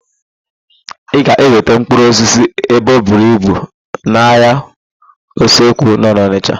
Ị ga-enweta mkpụrụosisi ebe oburu ibu n'ahịa Osenkụ nọ n'Ọnịsha.